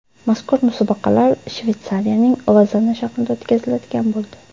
Mazkur musobaqalar Shveysariyaning Lozanna shahrida o‘tkaziladigan bo‘ldi.